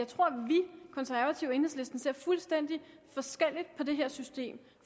konservative og enhedslisten ser fuldstændig forskelligt på det her system